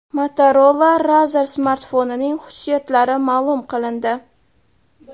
Motorola Razr smartfonining xususiyatlari ma’lum qilindi.